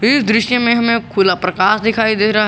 इस दृश्य में हमें खुला प्रकाश दिखाई दे रहा है।